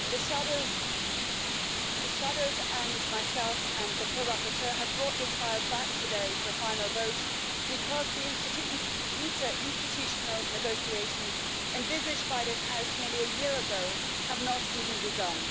The shadows and myself, and the co rapporteur, have brought this file back today for a final vote because the interinstitutional negotiations envisaged by this House nearly a year ago have not even begun.